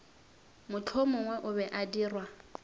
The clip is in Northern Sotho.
mohlomongwe o be a dirwa